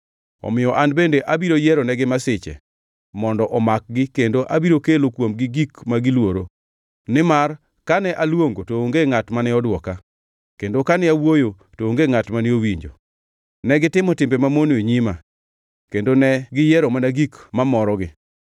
omiyo an bende abiro yieronegi masiche mondo omakgi kendo abiro kelo kuomgi gik ma giluoro. Nimar kane aluongo, to onge ngʼat mane odwoka, kendo kane awuoyo, to onge ngʼat mane owinjo. Negitimo timbe mamono e nyima, kendo ne giyiero mana gik mamorogi.”